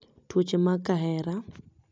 Tuoche mag kahera